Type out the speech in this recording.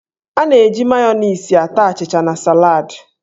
A na-eji Mayoniisị ata achịcha na salad.